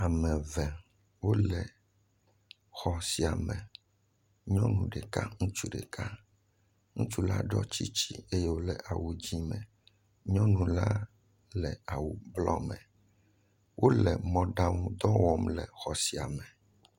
Ame ve, wole xɔ sia me. Nyɔnu ɖeka, ŋutsu ɖeka. Ŋutsula ɖɔ tsiŋtsi eye wòle awu dzẽ me. Nyɔnula le awu blɔɔ me. Wole mɔɖaŋu dɔ wɔm le xɔ sia me.